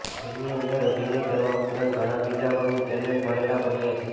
જેમની અંદર અભિનય કરવા ઉપરાંત ઘણા બીજા પણ ટેલેન્ટ ભરેલા પડ્યા છે